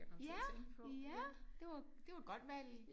Ja ja det var det var et godt valg